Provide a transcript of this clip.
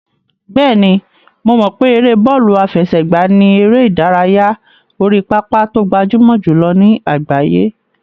Bẹ́ẹ̀ni, mo mọ̀ pé ère bọ́ọ̀lù àfẹsẹ̀gbá ni eré ìdárayá orí pápá tó gbajúmọ̀ jùlọ ní àgbáyé.